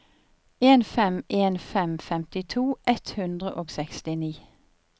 en fem en fem femtito ett hundre og sekstini